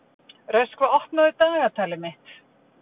Röskva, opnaðu dagatalið mitt.